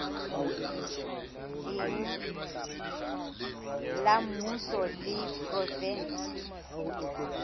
leng la mmuso le provenseng